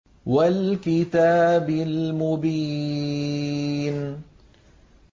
وَالْكِتَابِ الْمُبِينِ